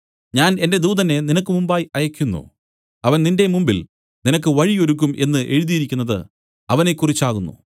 ഞാൻ എന്റെ ദൂതനെ നിനക്ക് മുമ്പായി അയയ്ക്കുന്നു അവൻ നിന്റെ മുമ്പിൽ നിനക്ക് വഴി ഒരുക്കും എന്നു എഴുതിയിരിക്കുന്നത് അവനെക്കുറിച്ചാകുന്നു